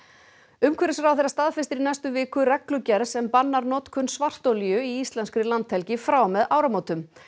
umhverfisráðherra staðfestir í næstu viku reglugerð sem bannar notkun svartolíu í íslenskri landhelgi frá og með áramótum